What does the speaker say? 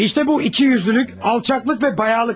İşte bu ikiyüzlülük, alçaqlıq və bayaqlıqdır.